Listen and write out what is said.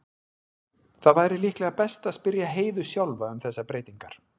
Það væri líklega best að spyrja Heiðu sjálfa um þessar breytingar.